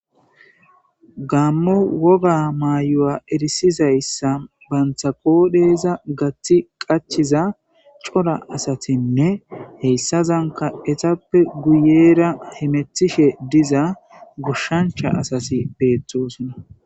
Gaaammo wogaa maayuwaa erissizayssa banththa qooreza gaththi qachchiza cora asathinne heyssazankka ethappe guyeera hemeththishe diza goshshanchcha asathi beeththoosona.